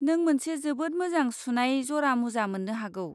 नों मोनसे जोबोद मोजां सुनाय जरा मुजा मोन्नो हागौ।